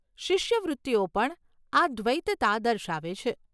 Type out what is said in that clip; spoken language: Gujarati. શિષ્યવૃત્તિઓ પણ આ દ્વૈતતા દર્શાવે છે.